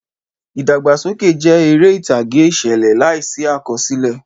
Ìdàgbàsókè jẹ́ eré ìtàgé ìṣẹ̀lẹ̀ láìsí àkọsílẹ̀.